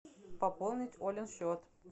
пополнить олин счет